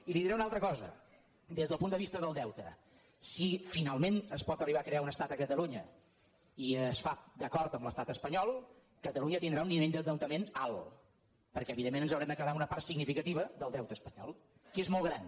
i li diré una altra cosa des del punt de vista del deute si finalment es pot arribar a crear un estat a catalunya i es fa d’acord amb l’estat espanyol catalunya tindrà un nivell d’endeutament alt perquè evidentment ens haurem de quedar amb una part significativa del deute espanyol que és molt gran